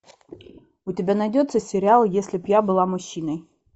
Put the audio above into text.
у тебя найдется сериал если б я была мужчиной